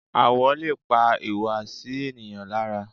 Àwọ̀ lè pa ìhùwàsí ènìyàn lára.